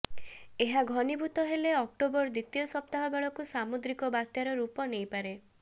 ଏହା ଘନୀଭୂତ ହେଲେ ଅକ୍ଟୋବର ଦ୍ବିତୀୟ ସପ୍ତାହ ବେଳକୁ ସାମୁଦ୍ରିକ ବାତ୍ୟାର ରୂପ ନେଇପାରେ